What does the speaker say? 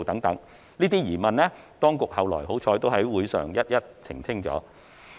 這些疑問，幸好當局後來在會議上均已逐一澄清。